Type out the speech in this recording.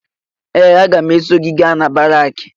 Ee! Agam eso gị gaa na baraakị.